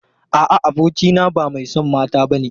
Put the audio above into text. A'a, abokina ba mai son mata bane.